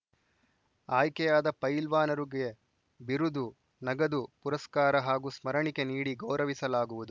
ಆಯ್ಕೆಯಾದ ಫೈಲ್ವಾನರುಗೆ ಬಿರುದು ನಗದು ಪುರಸ್ಕಾರ ಹಾಗೂ ಸ್ಮರಣಿಕೆ ನೀಡಿ ಗೌರವಿಸಲಾಗುವುದು